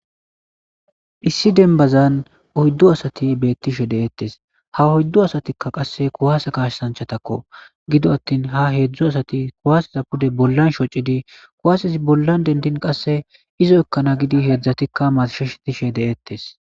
Issi denbazan oyddu asati beetishe de'etees; ha oyddu asatikka qasse kuwasse kasaanchatako; gido attin ha hedzdzu asati kuwasseza pude bollan shocidi kuwassezi bollan dendin qasse izo ekkana giidi hedzdzatika marshishe dishe de'etees.